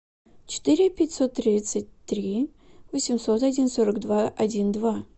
четыре пятьсот тридцать три восемьсот один сорок два один два